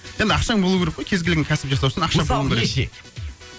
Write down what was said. енді ақшаң болу керек қой кез келген кәсіп жасау үшін мысалы неше